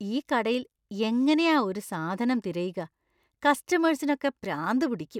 ഈ കടയിൽ എങ്ങനെയാ ഒരു സാധനം തിരയുക? കസ്റ്റമേഴ്‌സിനൊക്കെ പ്രാന്ത് പിടിക്കും.